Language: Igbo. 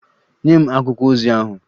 Nye m akwụkwọ ozi ahụ!